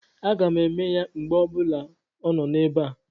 Aga m eme ya mgbe onye ọ bụla nọ ebe a.